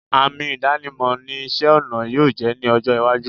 Àmì ìdánimọ̀ ni isẹ́-ọnà yóò jẹ́ ní ọjọ́-iwájú.